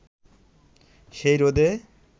সেই রোদে